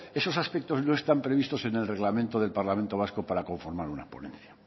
esos aspectos no están previstos en el reglamento del parlamento vasco para conformar una ponencia